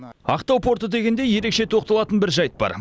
ақтау порты дегенде ерекше тоқталатын бір жайт бар